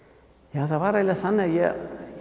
ja það var eiginlega þannig að ég